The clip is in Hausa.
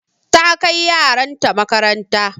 Ta kai yaran ta makaranta.